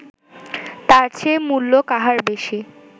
তার চেয়ে মূল্য কাহার বেশী